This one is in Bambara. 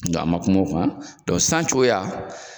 dɔn an man kuma o kan dɔn san cogoya